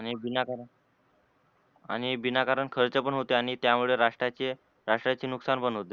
आणि बिनाकारण खर्च पण होते आणि त्यामुळे रस्त्राचे रस्त्राचे नुकसान पण होते.